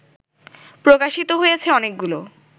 প্রকাশিত হয়েছে অনেকগুলো